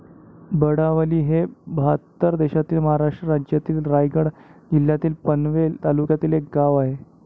बळावली हे बहात्तर देशातील.महाराष्ट्र राज्यातील, रायगड जिल्ह्यातील, पनवेल तालुक्यातील एक गाव आहे.